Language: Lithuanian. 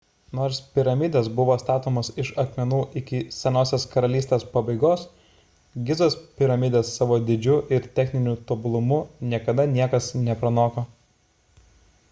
nors piramidės buvo statomos iš akmenų iki senosios karalystės pabaigos gizos piramidės savo dydžiu ir techniniu tobulumu niekada niekas nepranoko